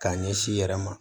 K'a ɲɛsin i yɛrɛ ma